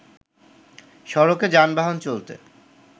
সড়কে যানবাহন চলতে